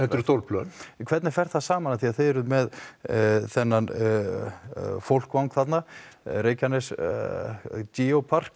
eru stór plön hvernig fer það saman því þið eruð með þennan fólkvang þarna Reykjanes Geopark